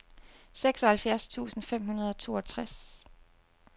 seksoghalvfjerds tusind fem hundrede og toogtres